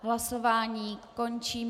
Hlasování končím.